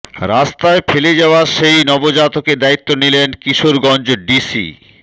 রাস্তায় ফেলে যাওয়া সেই নবজাতকের দায়িত্ব নিলেন কিশোরগঞ্জ ডিসি